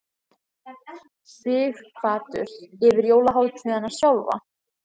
Sighvatur: Yfir jólahátíðina sjálfa?